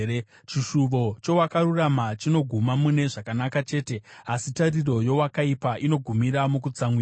Chishuvo cheakarurama chinoguma mune zvakanaka chete, asi tariro yeakaipa inogumira mukutsamwirwa.